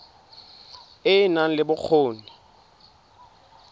e e nang le bokgoni